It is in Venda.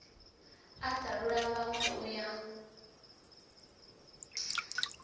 a talula vhanwe u ya